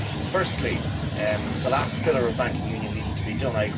Firstly, the last pillar of banking union needs to be done.